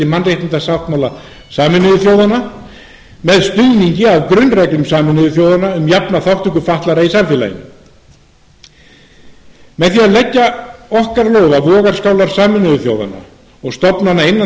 mannréttindasáttmála sameinuðu þjóðanna með stuðningi af grunnreglum sameinuðu þjóðanna um jafna þátttöku fatlaðra í samfélaginu með því að leggja okkar lóð á vogarskálar sameinuðu þjóðanna og stofnana innan